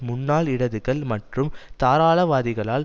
முன்னாள் இடதுகள் மற்றும் தாராளவாதிகளால்